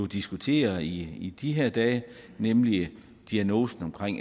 diskuteret i de her dage nemlig diagnosen